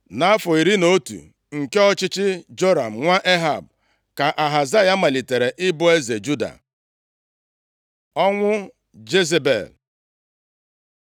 Nʼafọ iri na otu nke ọchịchị Joram nwa Ehab, ka Ahazaya malitere ịbụ eze Juda. Ọnwụ Jezebel